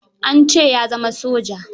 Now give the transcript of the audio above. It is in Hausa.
An ce ya zama soja.